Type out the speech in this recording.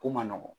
Ko man nɔgɔn